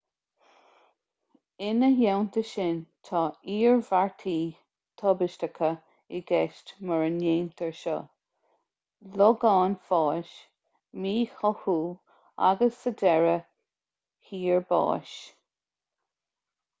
ina theannta sin tá iarmhairtí tubaisteacha i gceist mura ndéantar seo logán fáis míchothú agus sa deireadh thiar báis